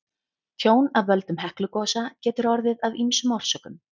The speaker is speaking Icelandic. Tjón af völdum Heklugosa getur orðið af ýmsum orsökum.